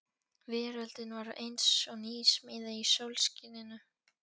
Veröldin var eins og nýsmíði í sólskininu.